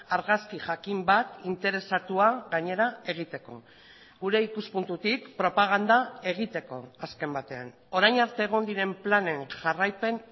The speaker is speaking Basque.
argazki jakin bat interesatua gainera egiteko gure ikuspuntutik propaganda egiteko azken batean orain arte egon diren planen jarraipen